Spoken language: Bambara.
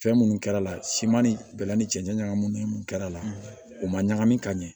Fɛn minnu kɛr'a la siman ni bɛla ni cɛncɛn ɲagamin kɛrɛ la u ma ɲagami ka ɲɛ